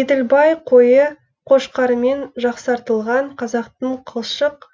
еділбай қойы қошқарымен жақсартылған қазақтың қылшық